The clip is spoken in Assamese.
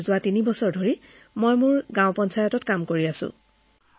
আৰু তিনিবছৰ ধৰি মই আমাৰ গাঁৱৰ পঞ্চায়তত কাম কৰি আছো